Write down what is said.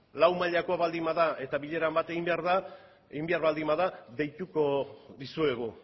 lau mailako baldin bada eta bilera bat egin behar da egin behar baldin bada deituko dizuegu